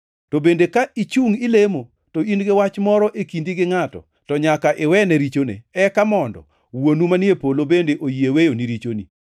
To bende ka ichungʼ ilemo, to in-gi wach moro e kindi gi ngʼato, to nyaka iwene richone, eka mondo Wuonu manie polo bende oyie weyoni richoni. [